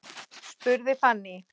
spurði Fanný.